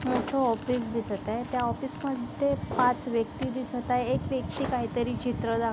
मोठ ऑफिस दिसत आहे त्या ऑफिस मध्ये पाच व्यक्ति दिसत आहे एक व्यक्ती काहीतरी चित्र दाख --